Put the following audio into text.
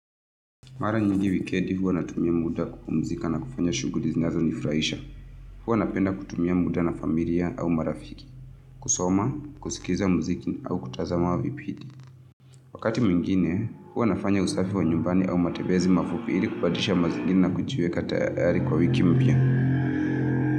Mara nyingi wikedi, huwa natumia muda kupumzika na kufanya shuguri zinazo nifraisha. Huwa napenda kutumia muda na familia au marafiki, kusoma, kusikiza muziki au kutazama vipidi. Wakati mwingine, huwa nafanya usafi wa nyumbani au matebezi mafupi ili kubadilisha mazingira na kujieka tayari kwa wiki mpya.